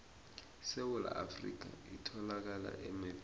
isewula afrika iyatholakala emebheni